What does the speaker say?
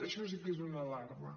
això sí que és una alarma